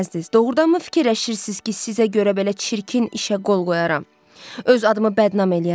Doğrudanmı fikirləşirsiz ki, sizə görə belə çirkin işə qol qoyaram, öz adımı bədnam eləyərəm?